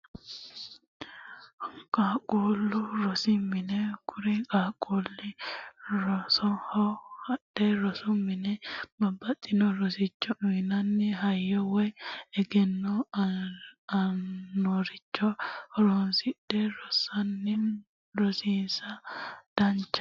Qaaqulu rosi mine, kuri qaaqulli rosoho hadhe rosu mine babaxinno rosicho uuyinnanni hayyo woyi eggeno aannoricho horonsidhe rosisanno rossiissa danditano